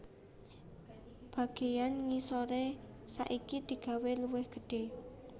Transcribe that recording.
Bagéyan ngisoré saiki digawé luwih gedhé